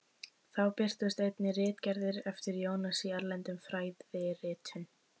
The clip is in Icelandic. Þá birtust einnig ritgerðir eftir Jónas í erlendum fræðiritum.